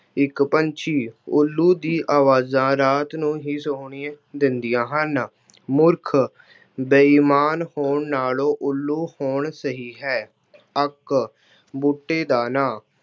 ਇੱਕ ਪੰਛੀ- ਉੱਲੂ ਦੀ ਆਵਾਜ਼ਾਂ ਰਾਤ ਨੂੰ ਹੀ ਸੁਣਾਈ ਦਿੰਦੀਆਂ ਹਨ। ਮੂਰਖ- ਬੇਈਮਾਨ ਹੋਣ ਨਾਲੋਂ ਉੱਲੂ ਹੋਣ ਸਹੀ ਹੈ। ਅੱਕ- ਬੂਟੇ ਦਾ ਨਾਂ-